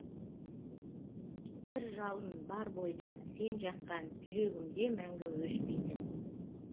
бір жалын бар бойда сен жаққан жүрегімде мәңгі өшпейтін